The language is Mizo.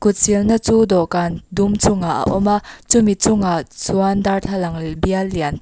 kut silna chu dawhkan dum chungah a awm a chumi chungah chuan darthlalang lia bial lian--